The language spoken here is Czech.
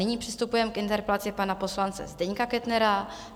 Nyní přistupujeme k interpelaci pana poslance Zdeňka Kettnera.